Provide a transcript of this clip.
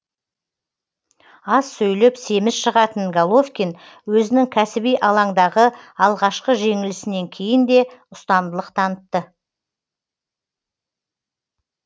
аз сөйлеп семіз шығатын головкин өзінің кәсіби алаңдағы алғашқы жеңілісінен кейін де ұстамдылық танытты